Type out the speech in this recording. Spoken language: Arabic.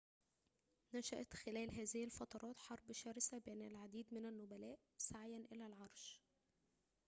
نشأت خلال هذه الفترات حرب شرسة بين العديد من النبلاء سعيًا إلى العرش